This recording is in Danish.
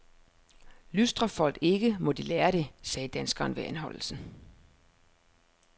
Lystrer folk ikke, må de lære det, sagde danskeren ved anholdelsen.